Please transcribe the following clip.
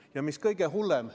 Palun mikrofon härra Grünthalile!